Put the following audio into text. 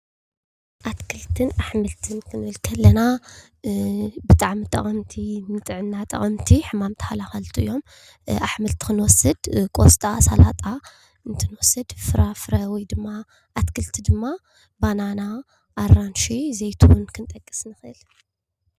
ኣትክልትን ኣሕምልትን ክንብል ከለና ብጣዕሚ ጠቐምቲ ንጥዕና ጠቐምቲ ሕማም ተኸላኸልቲ እዮም። ኣሕምልቲ ክንወስድ ቆስጣ ፣ ሳላጣ ፣እንትንወስድ ፍራፍረ ወይ ድማ ኣትክልቲ ድማ ባናና ፣ኣራንሺ፣ ዘይትሁን ክንጥቀስ ንኽእል።